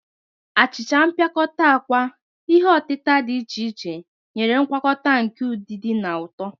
Achicha mpịakọta akwa, ihe otita dị iche iche, nyere ngwakọta nke udidi na ụtọ..